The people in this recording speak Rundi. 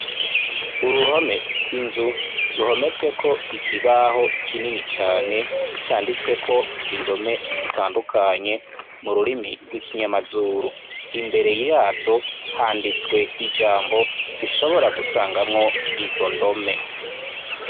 Uruhome kw'inzu, ruhometsweko ikibaho kinini cane, canditsweko indome zitandukanye, mu rurimi rw'ikinyamazuru. Imbere ya zo handitswe ijambo dushobora gusangamwo izo ndome.